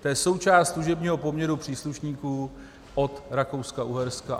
To je součást služebního poměru příslušníků od Rakouska-Uherska.